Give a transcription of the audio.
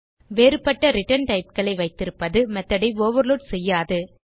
வேறுபட்ட ரிட்டர்ன் typeகளை வைத்திருப்பது மெத்தோட் ஐ ஓவர்லோட் செய்யாது